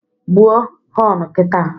Gbuo họnu kita!